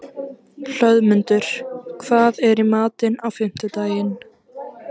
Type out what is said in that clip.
Hlöðmundur, hvað er í matinn á fimmtudaginn?